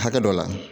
Hakɛ dɔ la